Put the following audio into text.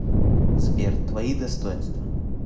сбер твои достоинства